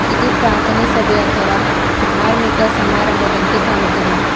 ಇದು ಪ್ರಾಥನೆ ಸಭೆ ಅಥವಾ ಧಾರ್ಮಿಕ ಸಮಾರಂಭದಂತೆ ಕಾಣುತ್ತದೆ.